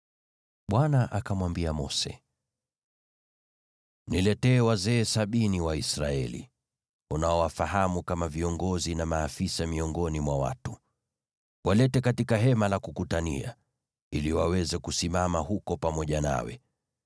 Bwana akamwambia Mose: “Niletee wazee sabini wa Israeli, unaowafahamu kama viongozi na maafisa miongoni mwa watu. Walete katika Hema la Kukutania, ili waweze kusimama huko pamoja nawe.